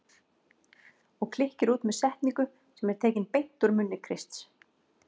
Og klykkir út með setningu sem er tekin beint úr munni Krists